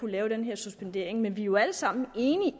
lave den her suspendering men vi er jo alle sammen enige